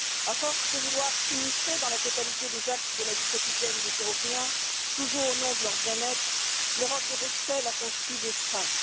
À force de vouloir s'immiscer dans la totalité des actes de la vie quotidienne des Européens, toujours au nom de leur bien être, l'Europe de Bruxelles a construit des freins.